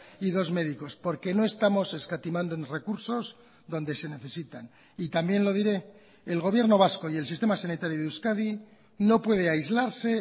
y dos médicos porque no estamos escatimando en recursos donde se necesitan y también lo diré el gobierno vasco y el sistema sanitario de euskadi no puede aislarse